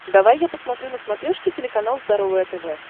давай я посмотрю на смотрешке телеканал здоровое тв